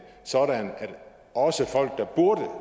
sådan at også folk der burde